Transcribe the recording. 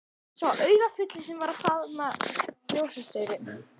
Sá augafulli sem var að faðma ljósastaurinn.